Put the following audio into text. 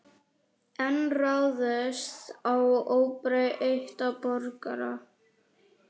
Enn ráðist á óbreytta borgara